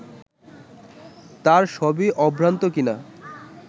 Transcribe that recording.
তার সবই অভ্রান্ত কিনা